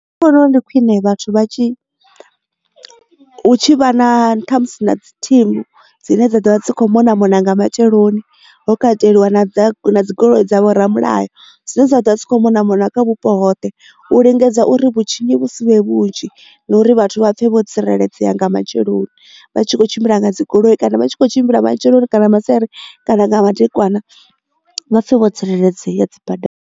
Nṋe ndi vhona uri ndi khwine vhathu vha tshi hu tshi vha na ṱhamusi na dzi thimu dzine dza dovha dza kho mona mona nga matsheloni ho kateliwa na dzigoloi dzavho ramulayo dzine dza ḓovha dzi kho mona mona kha vhupo hoṱhe u lingedza uri vhutshinyi vhu sivhe vhunzhi na uri vhathu vha pfhe vho tsireledzea nga matsheloni vha tshi kho tshimbila nga dzi goloi kana vha tshi kho tshimbila matsheloni kana masiari kana nga madekwana vha pfhe vho tsireledzea dzi badani.